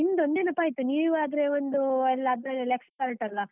ನಿಮ್ದ್ ಒಂದ್ ನೆನಪಾಯ್ತ್. ನೀವ್ ಆದ್ರೆ ಒಂದೂ ಎಲ್ಲಾ ಅದ್ರಲ್ಲೆಲ್ಲ expert ಅಲಾ.